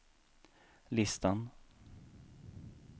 listan